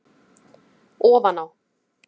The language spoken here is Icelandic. Ofan á